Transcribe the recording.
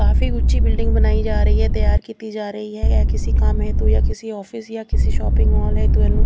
ਕਾਫੀ ਉੱਚੀ ਬਿਲਡਿੰਗ ਬਣਾਈ ਜਾ ਰਹੀ ਆ ਤਿਆਰ ਕੀਤੀ ਜਾ ਰਹੀ ਆ ਇਸ ਕਿਸੇ ਕੰਮ ਹੇਤੁ ਜਾਂ ਕਿਸੇ ਆਫਿਸ ਜਾਂ ਕਿਸੇ ਸ਼ੋਪਿੰਗ ਮਾਲ ਹੈ --